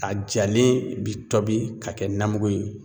A jalen bi tobi ka kɛ namugu ye